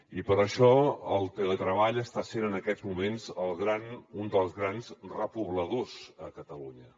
i per això el teletreball està sent en aquests moments un dels grans repobladors a catalunya